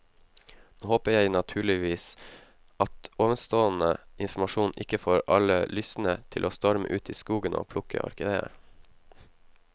Nå håper jeg naturligvis at ovenstående informasjon ikke får alle lystne til å storme ut i skogen og plukke orkideer.